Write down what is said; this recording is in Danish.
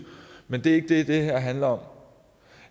men det er ikke det det her handler om